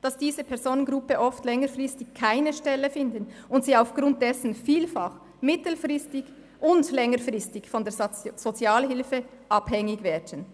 dass Arbeitslose der genannten Personengruppen oft längerfristig keine Stelle finden und aufgrund dessen vielfach mittel- und längerfristig von der Sozialhilfe abhängig werden.